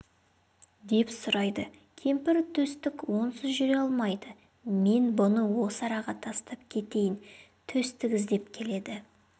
деп сұрайды кемпір төстік онсыз жүре алмайды мен бұны осы араға тастап кетейін төстік іздеп келеді